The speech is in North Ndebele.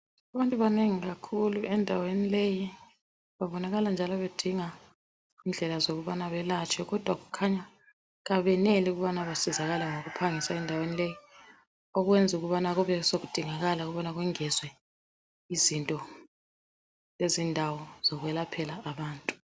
Abantu banengi kakhulu endaweni leyi babonakala njalo bedinga indlela zokubana belatshwe kodwa kukhanya abeneli ukubana besizakale ngokuphangisa endaweni leyi okwenzi ukubana kube sokudingakala ukubana kwengezwe izinto lezindawo zokwelaphela abantu.